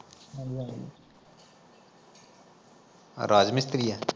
ਰਾਜ ਮਿਸਤਰੀ ਐ